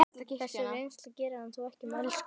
Þessi reynsla gerir hann þó ekki mælskan.